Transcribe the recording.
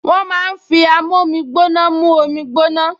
Wọ́n máa ń fi amómígbóná mú omi gbóná